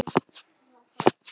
Minning um góðan frænda lifir.